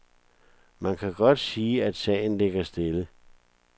Man kan godt sige, at sagen ligger stille.